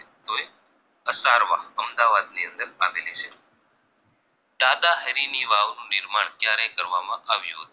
અમદાવાદની અંદર આવેલી છે દાદાહરીની વાવનું નિર્માણ ક્યારે કરવામાં આવ્યું હતું